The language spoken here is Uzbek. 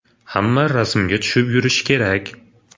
Hamma rasmga tushib yurishi kerak.